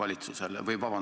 Aitäh!